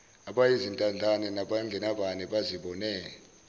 abayizintandane nabangenabani bazibone